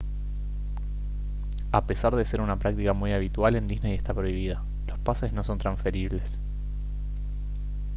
a pesar de ser una práctica muy habitual en disney está prohibida los pases no son transferibles